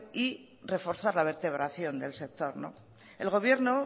y reforzar la vertebración del sector el gobierno